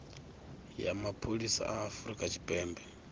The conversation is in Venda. ya mapholisa a afurika tshipembe